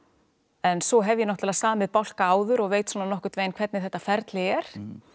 en svo hef ég náttúrulega samið bálka áður og veit svona nokkurn veginn hvernig þetta ferli er